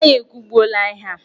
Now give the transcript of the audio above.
Anyị ekwubuola ihe a!